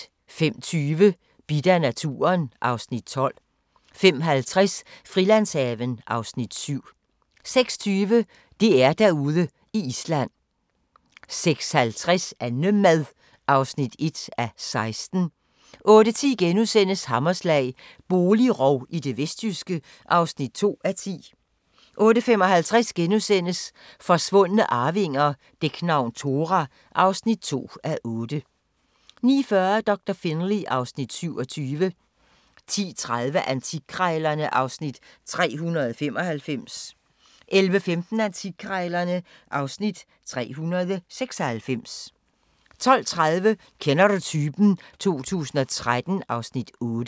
05:20: Bidt af naturen (Afs. 12) 05:50: Frilandshaven (Afs. 7) 06:20: DR-Derude i Island 06:50: Annemad (1:16) 08:10: Hammerslag – boligrov i det vestjyske (2:10)* 08:55: Forsvundne arvinger: Dæknavn Thora (2:8)* 09:40: Doktor Finlay (Afs. 27) 10:30: Antikkrejlerne (Afs. 395) 11:15: Antikkrejlerne (Afs. 396) 12:30: Kender du typen? 2013 (Afs. 8)